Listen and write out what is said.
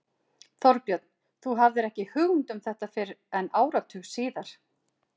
Þorbjörn: Þú hafðir ekki hugmynd um þetta fyrr en áratug síðar?